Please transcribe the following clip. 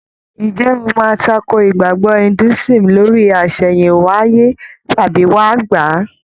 Ǹjẹ́ o máa takò ìgbàgbọ́ Indúísìm lórí àsẹ̀hìnwáyé tàbí wáà gbà á?